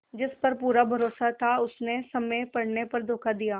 जिस पर पूरा भरोसा था उसने समय पड़ने पर धोखा दिया